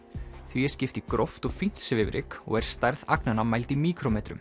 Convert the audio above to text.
því er skipt í gróft og fínt svifryk og er stærð agnanna mæld í